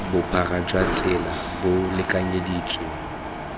bophara jwa tsela bo lekanyeditsweng